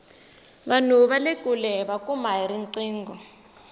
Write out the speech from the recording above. vanhu vale kule hiva kuma hi riqingho